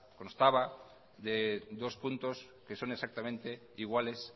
constaba de dos puntos que son exactamente iguales